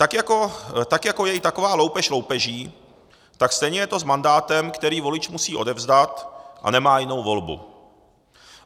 Tak jako je i taková loupež loupeží, tak stejně je to s mandátem, který volič musí odevzdat, a nemá jinou volbu.